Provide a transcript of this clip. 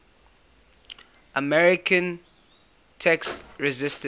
american tax resisters